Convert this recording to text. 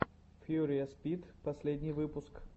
фьюриес пит последний выпуск